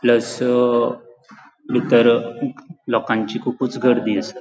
प्लस अ बितर लोकांची अ खूपुच गर्दी आसा.